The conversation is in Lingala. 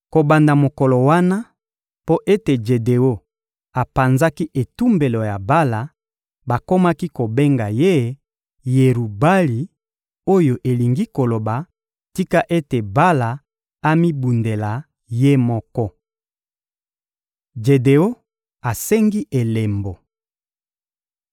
Kobanda mokolo wana, mpo ete Jedeon apanzaki etumbelo ya Bala, bakomaki kobenga ye «Yerubali» oyo elingi koloba: Tika ete Bala amibundela ye moko. Jedeon asengi elembo